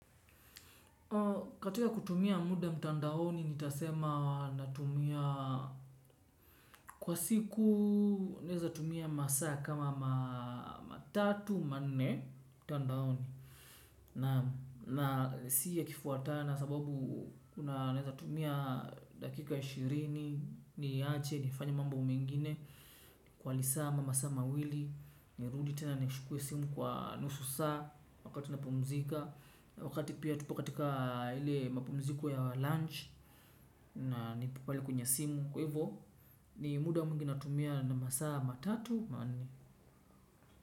Katika kutumia muda mtandaoni ni tasema natumia kwa siku neza tumia masa kama matatu mane mtandaoni. Na siya kifuatana sababu kuna neza tumia dakika ishirini ni yache niifanya mambo mengine. Kwa lisama masama wili ni ruditena nichukue simu kwa nusu saa wakati napumzika. Wakati pia tupo katika ile mapumziko ya lunch. Na nipo pali kwenye simu. Kwevo ni muda muingi natumia na masa matatu.